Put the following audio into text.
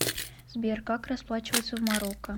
сбер как расплачиваться в марокко